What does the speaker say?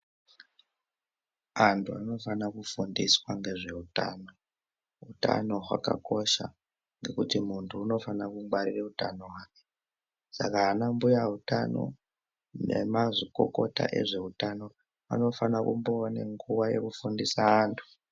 Anhu anofane kufundiswa ngezveutano utano hwakakosha ngekuti munhu unofanire kungwarire utano hwake saka anambuya utano nanamazvikokota ehwutano anofane kumboone nguwa yekufundise anhu ,